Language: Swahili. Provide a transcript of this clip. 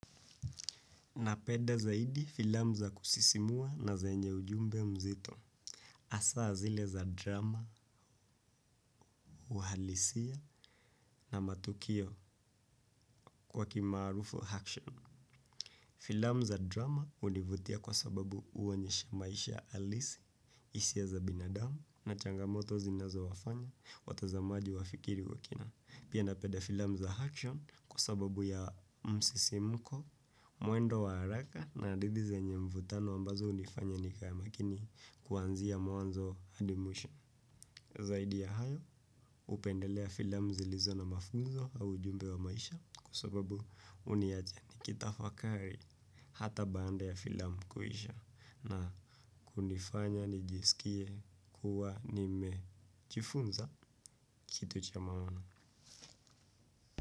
Napenda zaidi filamu za kusisimua na zenye ujumbe mzito. Hasaa zile za drama, uhalisia na matukio kwa kimaarufu action. Filamu za drama hunivutia kwa sababu huonyesha maisha halisi, hisia za binadamu na changamoto zinazowafanya watazamaji wafikiri kwa kina. Pia napenda filamu za action kwa sababu ya msisimko, mwendo wa haraka na hadithi zenye mvutano ambazo hunifanya nikae makini kuanzia mwanzo hadi mwisho. Zaidi ya hayo hupendelea filamu zilizo na mafunzo au ujumbe wa maisha kwa sababu huniacha nikitafakari. Hata baada ya filamu kuisha na hunifanya nijisikie kuwa nimejifunza kitu cha maana.